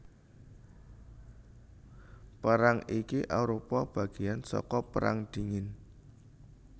Perang iki arupa bagéan saka Perang Dingin